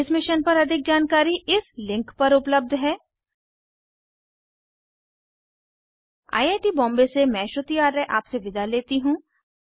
इस मिशन पर अधिक जानकारी इस लिंक पर उपलब्ध है httpspoken tutorialorgNMEICT Intro I I T Bombay से मैं श्रुति आर्य आपसे विदा लेती हूँ